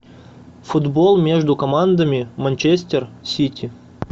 футбол между командами манчестер сити